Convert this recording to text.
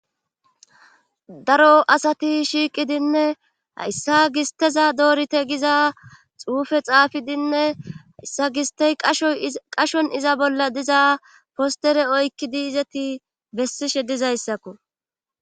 Da.ro asati shiiqidinne hayssa gis teza doorite giza xuufe xaafidinne hayssa gistey shqashon iza bolla diza postere oykkidi izeti bessishe dizayssakko